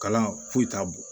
Kalan foyi t'a bon